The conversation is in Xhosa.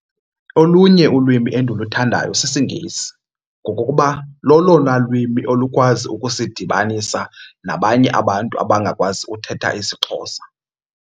Olunye ulwimi endiluthandayo sisiNgesi ngokokuba lolona lwimi olukwazi ukusidibanisa nabanye abantu abangakwazi uthetha isiXhosa.